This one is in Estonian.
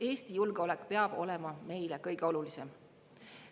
Eesti julgeolek peab olema meile kõige olulisem.